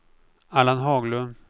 Allan Haglund